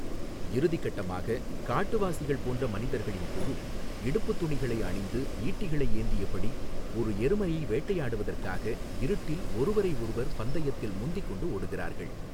இறுதி கட்டமாக, காட்டுவாசிகள் போன்ற மனிதர்களின் குழு, இடுப்பு துணிகளை அணிந்து, ஈட்டிகளை ஏந்தியபடி, ஒரு எருமையை வேட்டையாடுவதற்காக இருட்டில் ஒருவரையொருவர் பந்தயத்தில் முந்திக்கொண்டு ஓடுகிறார்கள்.